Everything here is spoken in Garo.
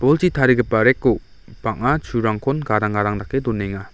tarigipa rack-o bang·a churangkon gadang gadang dake donenga.